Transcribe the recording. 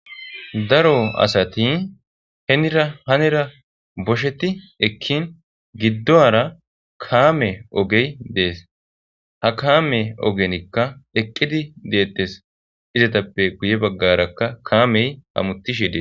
daro asati henira hanera bosheti ekkin giddohara kaame ogey dees ha kaame ogenikka eqqidi deettes izatappe guye baggarakka kaamey hamutishedee